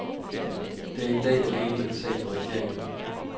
Det er i dag alene en sag for regeringerne.